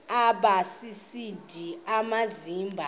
aba sisidl amazimba